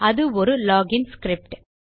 அது ஒரு log இன் ஸ்கிரிப்ட்